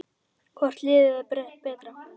Hvort liðið er betra?